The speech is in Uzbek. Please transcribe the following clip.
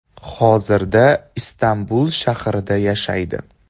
Hozirda Istanbul shahrida yashaydi.